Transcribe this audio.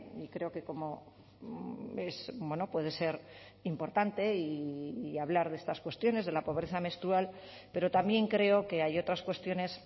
y creo que como puede ser importante hablar de estas cuestiones de la pobreza menstrual pero también creo que hay otras cuestiones